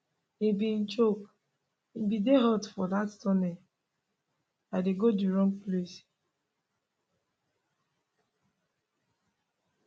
e bin joke e bin dey hot for dat tunnel i dey go di wrong place